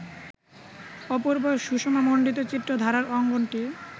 অপূর্ব সুষমামণ্ডিত চিত্রধারার অঙ্গনটি